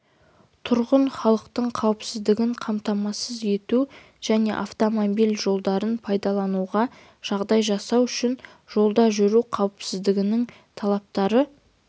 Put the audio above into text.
тұрғын халықтың қауіпсіздігін қамтамасыз ету және автомобиль жолдарын пайдалануға жағдай жасау үшін жолда жүру қауіпсіздігінің талаптары